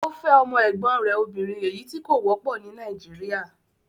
Ọ fẹ̀ ọmọ ẹ̀gbọ̀n rè òbìnrin ẹ̀yí tì kò wọ̀pọ̀ ní Naijiria.